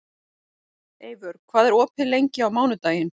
Eivör, hvað er opið lengi á mánudaginn?